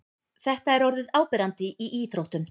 Þetta er orðið áberandi í íþróttum.